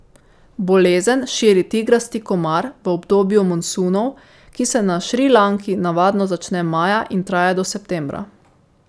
Bolezen širi tigrasti komar v obdobju monsunov, ki se na Šrilanki navadno začne maja in traja do septembra.